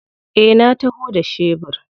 Eh na taho da shebur.